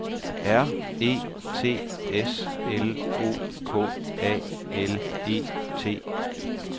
R E T S L O K A L E T